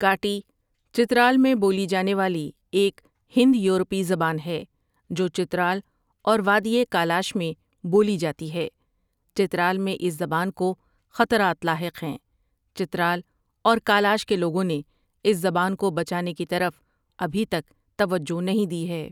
کاٹی چترال میں بولی جانے والی ایک ہند یورپی زبان ہے جو چترال اور وادی کالاش میں بولی جاتی ہے چترال میں اس زبان کو خطرات لاحق ہیں چترال اور کالاش کے لوگوں نے اس زبان کو بچانے کی طرف ابحی تک توجہ نہیں دی ہے